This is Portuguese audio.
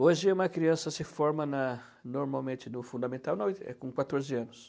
Hoje uma criança se forma na normalmente no fundamental com quatorze anos.